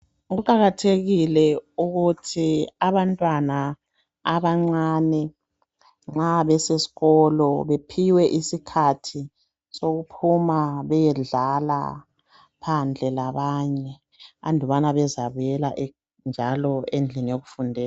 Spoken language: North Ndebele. Kuqakathekile ukuthi abantwana abancane nxa besesikolo bephiwe isikhathi sokuphuma beyedlala phandle labanye andubana bezabuyela njalo endlini yokufundela.